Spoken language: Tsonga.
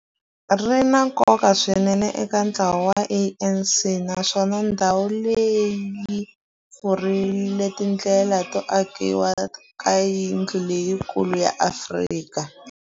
Ri na nkoka swinene eka ntlawa wa ANC, naswona ndhawu leyi yi pfurile tindlela to akiwa ka yindlu leyikulu ya Afrika